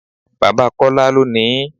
Bàbá Kọ́lá ló ni ín.